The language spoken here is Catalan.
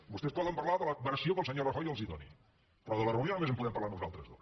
vostès poden parlar de la versió que el senyor rajoy els doni però de la reunió només en podem parlar nosaltres dos